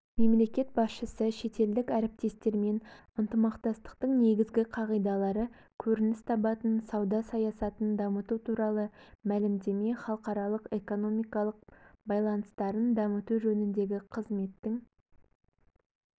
мемлекет басшысы шетелдік әріптестермен ынтымақтастықтың негізгі қағидалары көрініс табатын сауда саясатын дамыту туралы мәлімдеме халықаралық экономикалық байланыстарын дамыту жөніндегі қызметтің